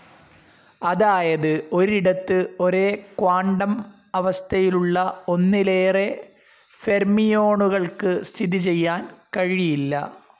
അതായത് ഒരിടത്തു ഒരേ ക്വാണ്ടം അവസ്ഥയിലുള്ള ഒന്നിലേറെ ഫെര്മിയോണുകൾക്കു സ്ഥിതിചെയ്യാൻ കഴിയില്ല.